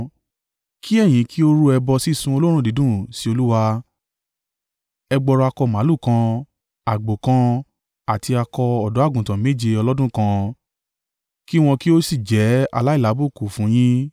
Kí ẹ̀yin kí ó rú ẹbọ sísun olóòórùn dídùn sí Olúwa, ẹgbọrọ akọ màlúù kan, àgbò kan, àti akọ ọ̀dọ́-àgùntàn méje ọlọ́dún kan, kí wọn kí ó sì jẹ́ aláìlábùkù fún yín.